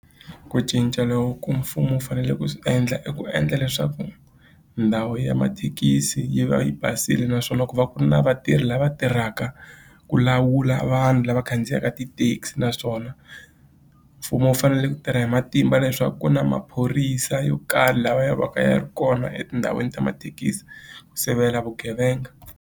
Ku cinca loku ku mfumo wu fanele ku swi endla i ku endla leswaku ndhawu ya mathekisi yi va yi basile naswona ku va ku ri na vatirhi lava tirhaka ku lawula vanhu lava khandziyaka ti-taxi naswona mfumo wu fanele ku tirha hi matimba leswaku ku na maphorisa yo karhi laha va ya va kaya ri kona etindhawini ta mathekisi ku sivela vugevenga.